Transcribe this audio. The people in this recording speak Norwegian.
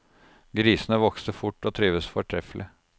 Grisene vokste fort og trivdes fortreffelig.